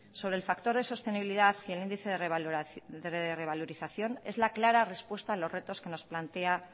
sobre el factor de sostenibilidad y el índice de revalorización es la clara respuesta a los retos que nos plantea